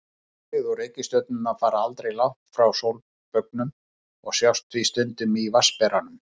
Tunglið og reikistjörnurnar fara aldrei langt frá sólbaugnum og sjást því stundum í Vatnsberanum.